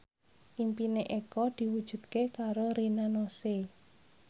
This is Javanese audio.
impine Eko diwujudke karo Rina Nose